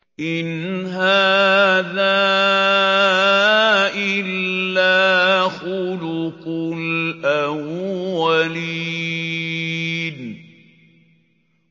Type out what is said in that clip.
إِنْ هَٰذَا إِلَّا خُلُقُ الْأَوَّلِينَ